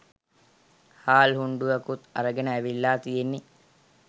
හාල් හුණ්ඩුවකුත් අරගෙන ඇවිල්ලා තියෙන්නෙ.